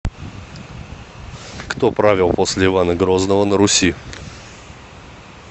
кто правил после ивана грозного на руси